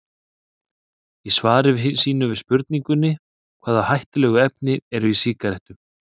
Í svari sínu við spurningunni Hvaða hættulegu efni eru í sígarettum?